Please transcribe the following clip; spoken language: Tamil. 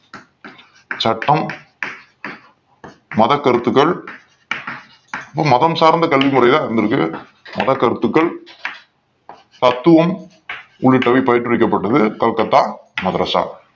சட்டம் மத கருத்துகள் மதம் சார்ந்த கல்வி முறைகள் தான் இருந்திருக்கு மதக் கருத்துக்கள் தத்துவம் உள்ளிட்டவை பயிற்றுவிக்கப்பட்டது கல்கத்தா மதரஸ